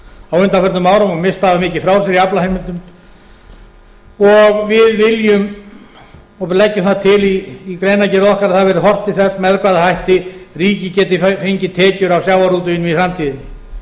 á undanförnum árum og misst hafa mikið frá sér í aflaheimildum og við viljum og leggjum það til í greinargerð okkar að það verði horft til þess með hvaða hætti ríkið geti fengið tekjur af sjávarútveginum í